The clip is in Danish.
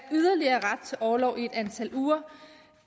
ret til orlov i et antal uger